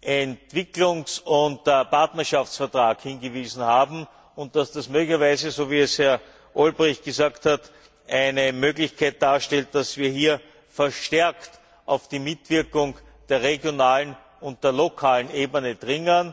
Entwicklungs und Partnerschaftsvertrag hingewiesen haben, und darauf, dass das so wie es Herr Olbrycht gesagt hat eine Möglichkeit darstellt, verstärkt auf die Mitwirkung der regionalen und der lokalen Ebene zu dringen.